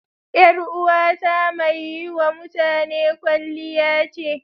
Yar uwata mai yi wa mutane kwalliya ce.